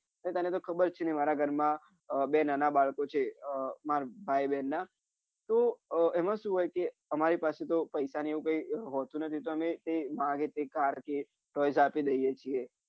તને તો ખબરજ છે ને મારા ઘર મા બે નાના બાળકો છે આહ મારા ભાઈ બેન ના તો આહ એમાં શું હોય છે કે અમારી પાસે પૈસા ને કઈ હોતું નથી તો એ માંગે તો અમે પૈસા આપી દઇંએ છીએ